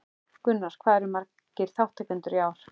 Gunnar, hvað eru margir þátttakendur í ár?